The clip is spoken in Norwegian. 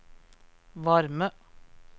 varme